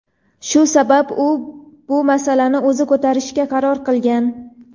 Shu sabab u bu masalani o‘zi ko‘tarishga qaror qilgan.